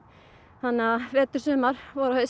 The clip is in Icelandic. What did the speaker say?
þannig að vetur sumar vor og haust